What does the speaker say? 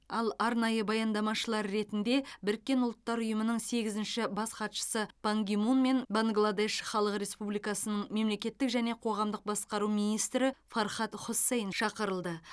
ал арнайы баяндамашылар ретінде біріккен ұлттар ұйымының сегізінші бас хатшысы пан ги мун мен бангладеш халық республикасының мемлекеттік және қоғамдық басқару министрі фархад хоссейн шақырылды